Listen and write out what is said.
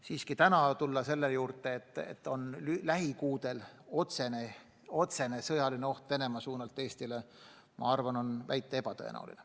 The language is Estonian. Siiski öelda praegu, et lähikuudel ähvardab Venemaa suunalt Eestit otsene sõjaline oht, oleks liialdus.